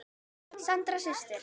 Sandra systir.